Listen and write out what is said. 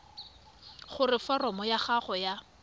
gore foromo ya gago ya